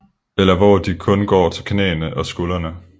Eller hvor de kun går til knæene og skuldrene